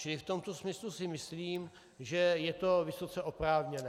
Čili v tomto smyslu si myslím, že je to vysoce oprávněné.